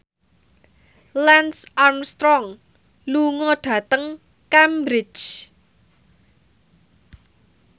Lance Armstrong lunga dhateng Cambridge